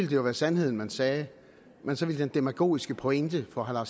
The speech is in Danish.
jo være sandheden man sagde men så ville den demagogiske pointe for herre